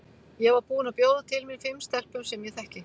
Ég var búin að bjóða til mín fimm stelpum sem ég þekki.